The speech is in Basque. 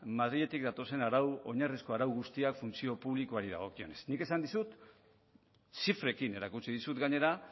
madriletik datozen oinarrizko arau guztiak funtzio publikoari dagokionez nik esan dizut zifrekin erakutsi dizut gainera